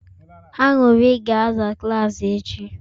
Anyarị ga-aza klaasị echi